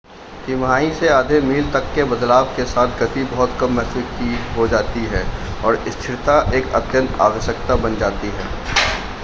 तिमाही से आधे-मील तक के बदलाव के साथ गति बहुत कम महत्व की हो जाती है और स्थिरता एक अत्यंत आवश्यकता बन जाती है